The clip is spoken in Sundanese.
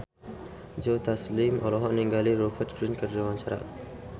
Joe Taslim olohok ningali Rupert Grin keur diwawancara